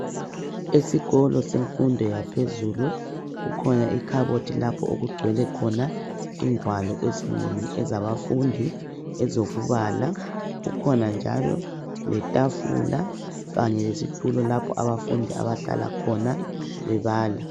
Esikolo semfundo yaphezulu kukhona ikhabothi lapho okugcwele khona ingwalo ezinengi ezabafundi ezokubala kukhona njalo letafula kanye lesitulo lapho abafundi abahlala khona bebala.